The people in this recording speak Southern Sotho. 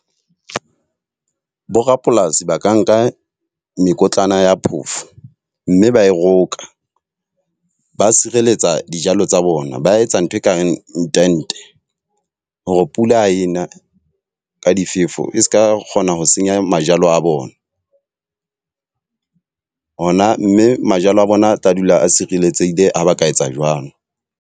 Borapolasi ba ka nka mekotlana ya phofo, mme ba e roka ba sireletsa dijalo tsa bona, ba etsa ntho ekareng tente. Hore pula ena ka difefo e seka kgona ho senya mejalo a bona. Hona mme majalo a bona a tla dula a sireletsehile ha ba ka etsa jwalo.